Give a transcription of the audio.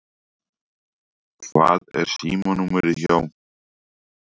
Hvað er símanúmerið hjá